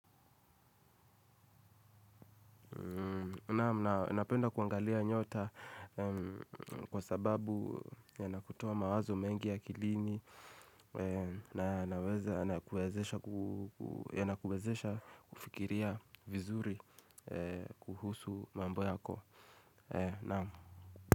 Napenda kuangalia nyota kwa sababu yanakutoa mawazo mengi akilini. Na kuwezesha kufikiria vizuri kuhusu mambo yako.